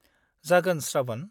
-जागोन, श्रावण।